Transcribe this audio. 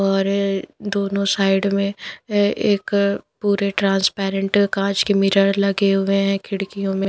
और दोनों साइड में ए एक पूरे ट्रांसपेरेंट काँच के मिरर लगे हुए हैं खिड़कियों में --